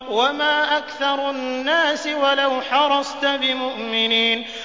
وَمَا أَكْثَرُ النَّاسِ وَلَوْ حَرَصْتَ بِمُؤْمِنِينَ